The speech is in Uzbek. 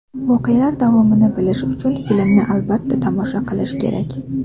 Voqealar davomini bilish uchun filmni albatta, tomosha qilish kerak.